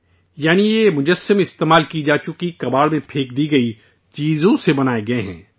یعنی یہ مجسمے استعمال ہو چکی، کباڑ میں پھینک دی گئی پرانی چیزوں سے بنائے گئے ہیں